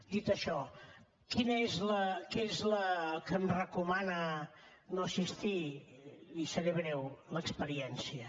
dit això què és el que em recomana no assistir li seré breu l’experiència